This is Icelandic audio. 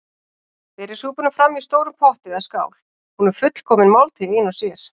Berið súpuna fram í stórum potti eða skál- hún er fullkomin máltíð ein og sér.